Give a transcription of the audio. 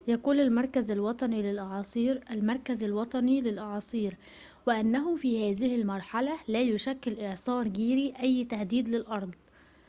يقول المركز الوطني للأعاصير المركز الوطني للأعاصير وإنه في هذه المرحلة لا يشكل إعصار جيري أي تهديد للأرض